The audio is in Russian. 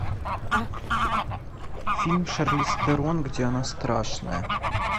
фильм шарлиз терон где она страшная